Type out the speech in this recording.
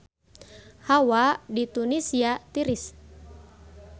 Hawa di Tunisia tiris